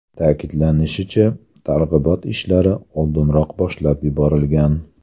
Ta’kidlanishicha, targ‘ibot ishlari oldinroq boshlab yuborilgan.